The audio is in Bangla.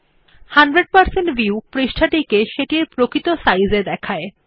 ১০০ শতাংশ ভিউ পৃষ্ঠাটিকে সেটির প্রকৃত সাইজ এ দেখায়